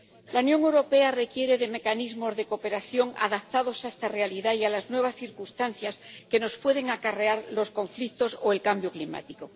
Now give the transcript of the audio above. La Unión Europea requiere de mecanismos de cooperación adaptados a esta realidad y a las nuevas circunstancias que nos pueden acarrear los conflictos o el cambio climático.